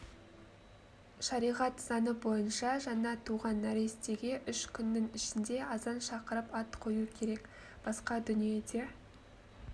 шариғат заңы бойынша жаңа туған нәрестеге үш күннің ішінде азан шақырып ат қою керек басқа дүниеде